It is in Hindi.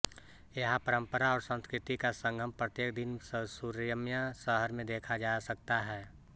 यहाँ परम्परा और संस्कृति का संगम प्रत्येक दिन सुरम्य शहर में देखा जा सकता है